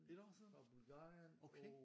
Et år siden? Okay